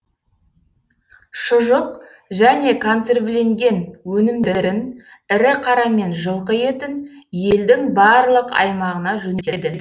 шұжық және консервіленген өнімдерін ірі қара мен жылқы етін елдің барлық аймағына жөнелтеді